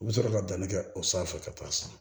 U bɛ sɔrɔ ka danni kɛ o sanfɛ ka taa san